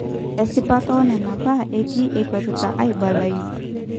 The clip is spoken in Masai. Esipata onena baa etii enkwetita aibalayu